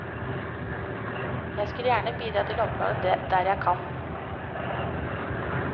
Jeg skal gjerne bidra til å oppklare der jeg kan.